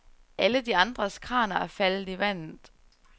Alle de andres kraner er faldet i vandet.